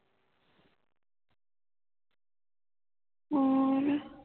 ਹੋਰ